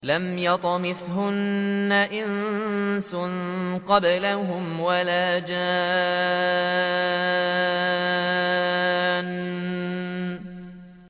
لَمْ يَطْمِثْهُنَّ إِنسٌ قَبْلَهُمْ وَلَا جَانٌّ